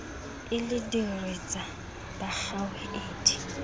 e le diritsa ba kgaohile